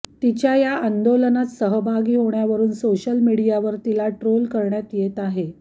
तिच्या या आंदोलनात सहभागी होण्यावरून सोशल मीडियावर तिला ट्रोल करण्यात येत आहे